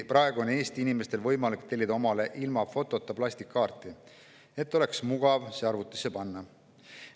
Praegu on Eesti inimestel võimalik tellida omale ilma fotota plastkaart, et oleks mugav see arvutisse panna.